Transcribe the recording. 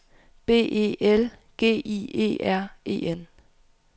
B E L G I E R E N